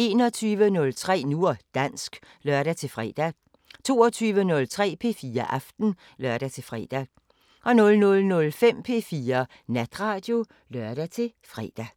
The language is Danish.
21:03: Nu og dansk (lør-fre) 22:03: P4 Aften (lør-fre) 00:05: P4 Natradio (lør-fre)